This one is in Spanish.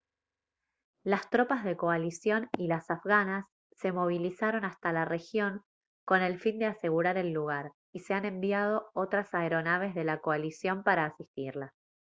las tropas de coalición y las afganas se movilizaron hasta la región con el fin de asegurar el lugar y se han enviado otras aeronaves de la coalición para asistirlas